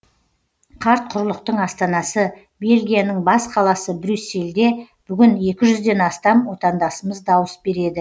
қарт құрлықтың астанасы бельгияның бас қаласы брюссельде бүгін екі жүзден астам отандасымыз дауыс береді